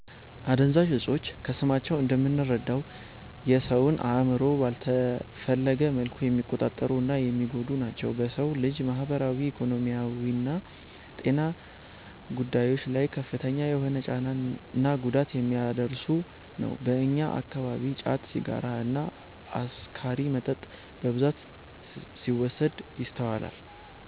አደንዛዥ እፆች ከስማቸው እንደምንረዳው የ ሰውን አእምሮ ባልተፈለገ መልኩ የሚቆጣጠሩ እና የሚጎዱ ናቸው። በ ሰው ልጅ ማህበራዊ፣ ኢኮኖሚያዊና ጤና ጉዳዮች ላይ ከፍተኛ የሆነ ጫና እና ጉዳት የሚያደርስ ነው። በእኛ አከባቢ ጫት፣ ሲጋራ እና አስካሪ መጠጥ በብዛት ሲወሰድ ይስተዋላል።